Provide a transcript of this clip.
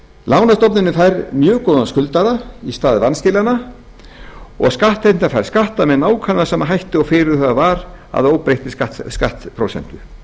lánastofnunin fær mjög góðan skuldara í stað vanskilanna og skattheimtan fær skatta með nákvæmlega sama hætti og fyrirhugað var að óbreyttri skattprósentu